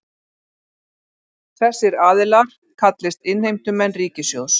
Þessir aðilar kallist innheimtumenn ríkissjóðs